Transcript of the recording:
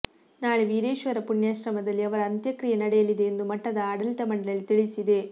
ನಾಳೆ ವೀರೇಶ್ವರ ಪುಣ್ಯಾಶ್ರಮದಲ್ಲಿ ಅವರ ಅಂತ್ಯಕ್ರಿಯೆ ನಡೆಯಲಿದೆ ಎಂದು ಮಠದ ಆಡಳಿತ ಮಂಡಳಿ ತಿಳಿಸಿದೆ